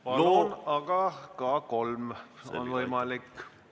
Palun, aga ka kolm minutit on võimalik!